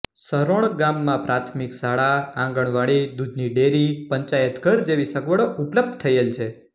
સરોણ ગામમાં પ્રાથમિક શાળા આંગણવાડી દુધની ડેરી પંચાયતઘર જેવી સગવડો ઉપલબ્ધ થયેલ છે